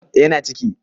eh yana ciki